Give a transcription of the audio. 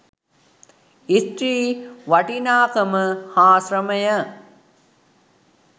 ස්ත්‍රී වටිනාකම හා ශ්‍රමය